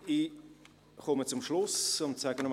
Ich komme zum Schluss, und sage noch einmal: